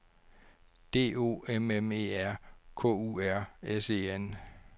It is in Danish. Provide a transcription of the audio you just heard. D O M M E R K U R S E N